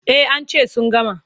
Eh an ce sun gama.